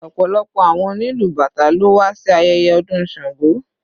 Ọ̀pọ̀lọpọ̀ àwọn onílù bàtá ló wà sí ayẹyẹ ọdún Sango.